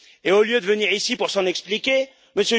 Au lieu de venir ici pour s'en expliquer, M.